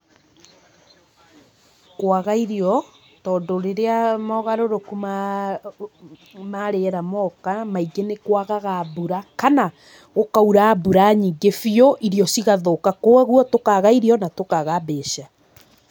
Kwaga irio, tondũ rĩrĩa mogarũrũku ma, ma rĩera moka, maingĩ níkwagaga mbura, kana, gũkaura mbura nyingĩ biũ irio cigathũka kwoguo tũkaga irio na tũkaga mbeca.